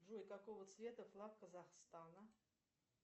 джой какого цвета флаг казахстана